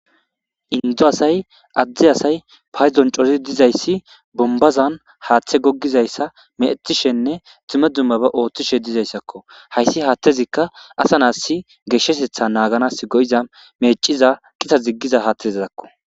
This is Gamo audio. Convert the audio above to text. Indo asay adde asay paydon cori dizaysi bombazan haaththe goggizaysi meecettishenne dumma dummaba ooththishe dizaysako haysi haaththezi ka asa naas geeshshatetha naaganasi meecciza qita duggiza haathezakko.